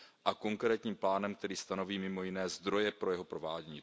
a konkrétním plánem, který stanoví mimo jiné zdroje pro jeho provádění.